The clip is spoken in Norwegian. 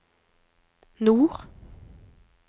nord